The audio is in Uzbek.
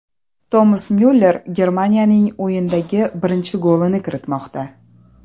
Tomas Myuller Germaniyaning o‘yindagi birinchi golini kiritmoqda.